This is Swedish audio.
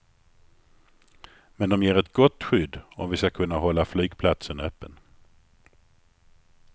Men de ger ett gott skydd om vi ska kunna hålla flygplatsen öppen.